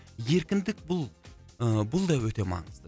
еркіндік бұл ыыы бұл да өте маңызды